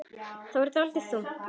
Það varð dálítið þunnt.